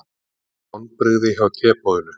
Vonbrigði hjá teboðinu